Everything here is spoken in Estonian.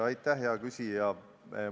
Aitäh, hea küsija!